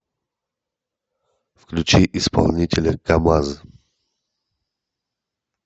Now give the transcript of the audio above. включи исполнителя камазз